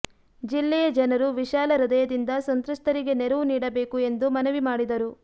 ಜಿಲ್ಲೆಯ ಜನರು ವಿಶಾಲ ಹೃದಯದಿಂದ ಸಂತ್ರಸ್ತರಿಗೆ ನೆರವು ನೀಡಬೇಕು ಎಂದು ಮನವಿ ಮಾಡಿದರು